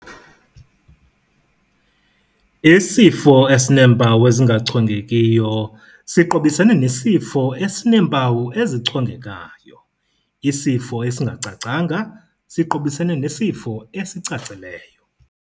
Isifo esineempawu ezingachongekiyo siqobisene nesifo esineempawu ezichongekayo, isifo esingacacanga siqobisene nesifo esicacileyo.